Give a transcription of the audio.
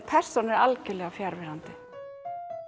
persónan er algjörlega fjarverandi